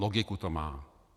Logiku to má.